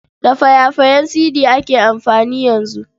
Da faya-fayen sidi ake amfani yanzu.